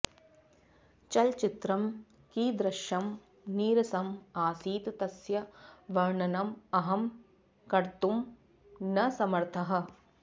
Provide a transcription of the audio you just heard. चलचित्रं कीदृशं नीरसम् आसीत् तस्य वर्णनम् अहं कर्तुम् न समर्थः